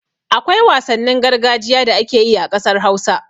Akwai wasannin gargajiya da ake yi a ƙasar Hausa.